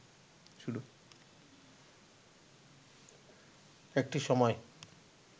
একটি সময়